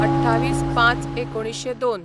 २८/०५/१९०२